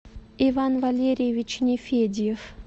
иван валерьевич нефедьев